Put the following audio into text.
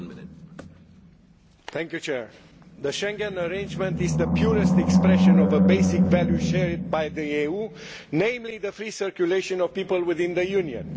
Mr President, the Schengen arrangement is the purest expression of a basic value shared by the EU, namely the free circulation of people within the Union.